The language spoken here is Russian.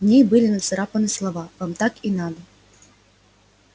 в ней были нацарапаны слова вам так и надо